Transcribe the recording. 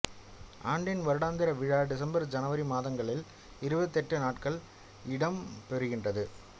ஆண்டின் வருடாந்திர விழா டிசம்பர் ஜனவரி மாதங்களில் இருபத்தெட்டு நாட்கள் இடம்பெறுகின்றது